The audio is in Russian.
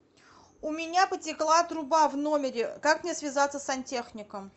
у меня потекла труба в номере как мне связаться с сантехником